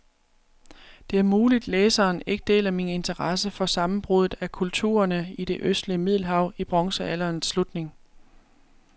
Det er muligt, læseren ikke deler min interesse for sammenbruddet af kulturerne i det østlige middelhav i bronzealderens slutning.